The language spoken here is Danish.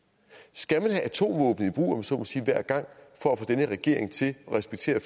skal man have atomvåben i brug om jeg så må sige hver gang for at få den her regering til at respektere